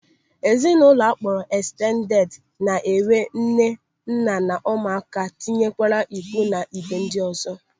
Ezinụlọ akpọrọ ekstended na-enwe nne, nna na ụmụaka tinyere ikwu na ibe ndị ọzọ.